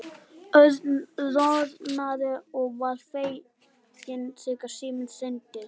Örn roðnaði og varð feginn þegar síminn hringdi.